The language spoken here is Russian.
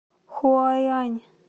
хуайань